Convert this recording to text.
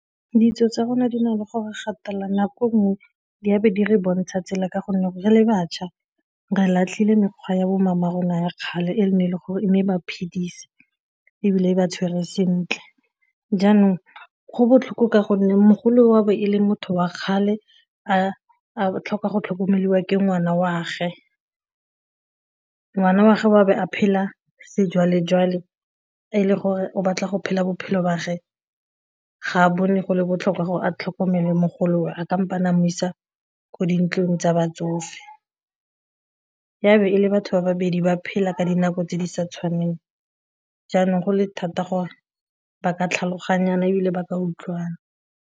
Ditso tsa rona di na le gore gatelela nako nngwe di be di re bontsha tsela ka gonne gore le batšha re latlhile mekgwa ya bo mama rona ya kgale e ne e le gore e ne e ba phedise ebile e ba tshwere sentle jaanong go botlhokwa ka gonne mogolo wa bo e leng motho wa kgale a a tlhoka go tlhokomelwa ke ngwana wa'age, ngwana wa'ge a ka bo a phela sejwalejwale e le gore o batla go phela bophelo ba'age, ga a bone go le botlhokwa gore a tlhokomele mogolowe, a mo isa ko dintlong tsa batsofe, e be e le batho ba babedi ba phela ka dinako tse di sa tshwaneng, jaanong go le thata gore ba ka tlhaloganyana ebile ba utlwana.